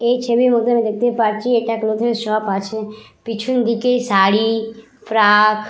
এই ছবির মধ্যে আমি দেখতে পারছি এটা ক্লোথিং শপ আছে পিছন দিকে শাড়ি ফ্রাক --